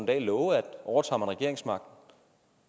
dag love at overtager man regeringsmagten